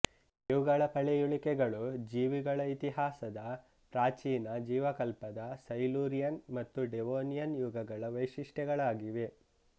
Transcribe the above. ಇವುಗಳ ಪಳೆಯುಳಿಕೆಗಳು ಜೀವಿಗಳ ಇತಿಹಾಸದ ಪ್ರಾಚೀನ ಜೀವಕಲ್ಪದ ಸೈಲೂರಿಯನ್ ಮತ್ತು ಡೆವೋನಿಯನ್ ಯುಗಗಳ ವೈಶಿಷ್ಟ್ಯಗಳಾಗಿವೆ